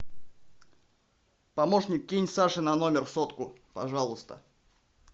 помощник кинь саше на номер сотку пожалуйста